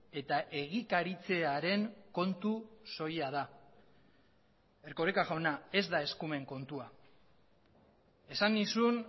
eta egikaritzearen kontu soila da erkoreka jauna ez da eskumen kontua esan nizun